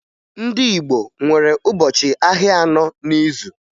Ndị Igbo nwere ụbọchị ahịa anọ n'izu